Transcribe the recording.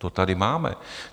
To tady máme.